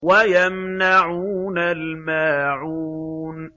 وَيَمْنَعُونَ الْمَاعُونَ